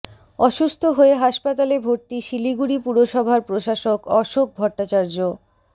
অসুস্থ হয়ে হাসপাতালে ভর্তি শিলিগুড়ি পুরসভার প্রশাসক অশোক ভট্টাচার্য